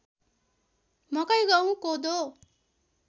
मकै गहुँ कोदो